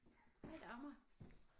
Hej Dagmar